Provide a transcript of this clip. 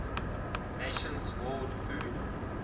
nations world food